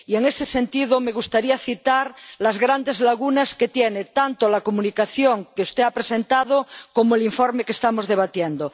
Y, en ese sentido, me gustaría citar las grandes lagunas que tienen tanto la Comunicación que usted ha presentado como el informe que estamos debatiendo.